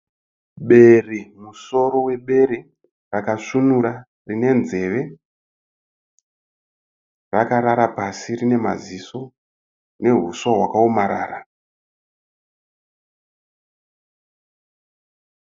Bere, musoro webere rakasvinura rine nzeve rakarara pasi rine maziso nehuswa wakaomarara.